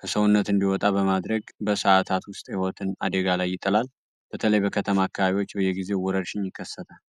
ከሰውነት እንዲወጣ በማድረግ በሰዓታት ውስጥ ህይወትን አዴጋ ላይ ይጥላል። በተለይ በከተማ አካባቢዎች በየጊዜ ውረርሽኝ ይከሰታል።